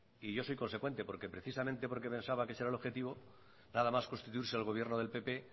y yo soy consecuente porque precisamente porque pensaba que ese era el objetivo nada más constituirse el gobierno del pp